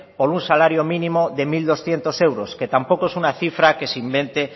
por un salario mínimo de mil doscientos euros que tampoco es una cifra que se invente